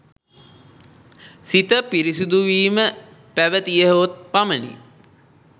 සිත පිරිසුදු වීම පැවැතියහොත් පමණි